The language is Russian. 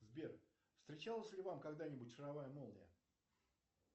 сбер встречалась ли вам когда нибудь шаровая молния